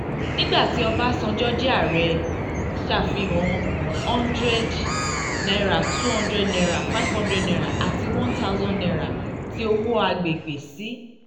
nígbà tí ọbasanjọ jẹ́ ààrẹ ọbasanjọ ṣàfihàn hundred naira two hundred naira five hundred naira àti one thousand naira ti owó agbègbè sí